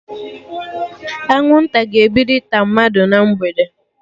Anwụnta ga-ebido ịta mmadụ na mgbede